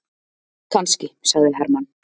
Kannski, sagði Hermann.